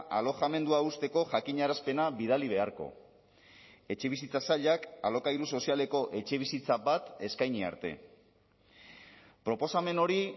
alojamendua uzteko jakinarazpena bidali beharko etxebizitza sailak alokairu sozialeko etxebizitza bat eskaini arte proposamen hori